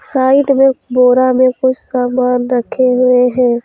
Side में बोरा में कुछ सामान रखे हुए हैं।